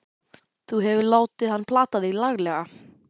Þú hefur látið hann plata þig laglega!